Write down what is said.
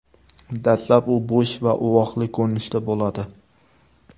Dastlab u bo‘sh va uvoqli ko‘rinishda bo‘ladi.